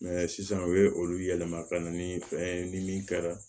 sisan u ye olu yɛlɛma ka na ni fɛn ye ni min kɛra